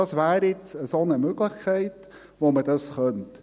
Das wäre jetzt eine solche Möglichkeit, mit der man dies könnte.